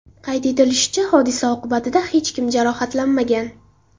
Qayd etilishicha, hodisa oqibatida hech kim jarohatlanmagan.